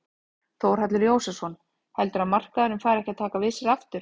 Þórhallur Jósefsson: Heldurðu að markaðurinn fari ekkert að taka við sér aftur?